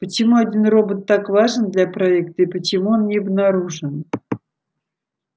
почему один робот так важен для проекта и почему он не обнаружен